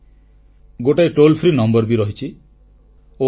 ଗୋଟିଏ ନିଃଶୁଳ୍କ phone number ବି ରହିଛି 1800117800